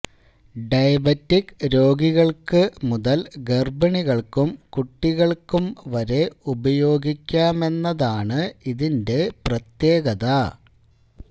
diabetic രോഗികള്ക്കു മുതല് ഗര്ഭിണികള്ക്കും കുട്ടികള്ക്കും വരെ ഉപയോഗിക്കാമെന്നതാണ് ഇതിന്റെ പ്രത്യേകത